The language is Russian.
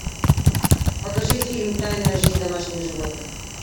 покажи фильм тайная жизнь домашних животных